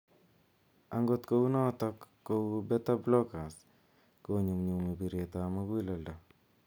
Angot kunotok kou beta blockers �konyumnnyumi bireet ap muguleledo.